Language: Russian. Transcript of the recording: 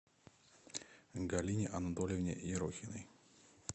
галине анатольевне ерохиной